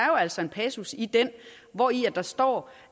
jo altså en passus i den hvori der står